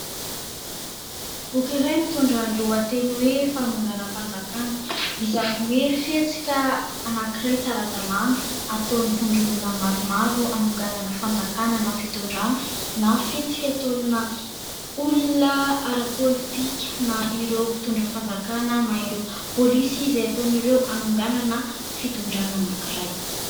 Boky iray mitondra ny lohateny hoe :" Fanonganam -panjakana" izany hoe : fihetsika anankiray tsy ara-dalàna ataon'ny vondron'olona maromaro ; hanonganana fanjakana na fitondrana, na fihetsika ataona olona ara-politika na ireo mpitondra fanjakana na ireo polisy, izay ataon'ireo hanonganana fitondrana anankiray.